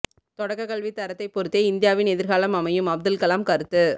தொடக்க கல்வி தரத்தை பொறுத்தே இந்தியாவின் எதிர்காலம் அமையும் அப்துல் கலாம் கருத்து